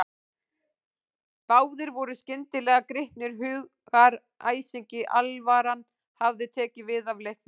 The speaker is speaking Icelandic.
Báðir voru skyndilega gripnir hugaræsingi, alvaran hafði tekið við af leiknum.